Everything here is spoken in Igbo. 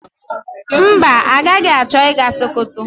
Mba, agaghị achọ ịga Sokoto.